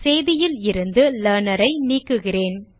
செய்தியில் இருந்து Learner ஐ நீக்குகிறேன்